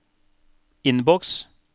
innboks